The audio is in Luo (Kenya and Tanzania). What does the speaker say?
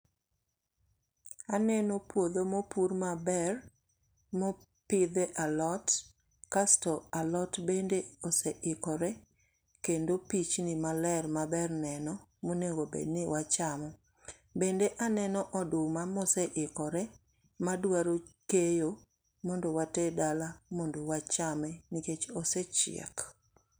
Aneno puodho ma opur maber, mopidhe alot. Kasto alot bende oseikore, kendo pichni maler, maber neno, monego bed ni wachamo. Bende aneno oduma ma osikore, madwaro keyo, mondo water dala, mondo wachame. Nikech osechiek.